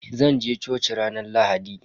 Eh zanje coci ranar Lahadi.